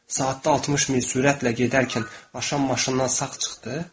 Saatda 60 mil sürətlə gedərkən aşan maşından sağ çıxdı.